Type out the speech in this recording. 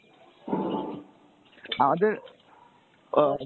আমাদের আহ